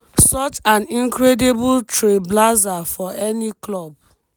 such an incredible trailblazer for any club